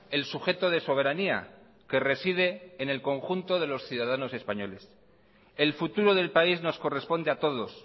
el sujeto de soberanía que reside en el conjunto de los ciudadanos españoles el futuro del país nos corresponde a todos